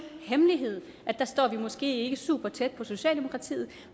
hemmelighed at der står vi måske ikke supertæt på socialdemokratiet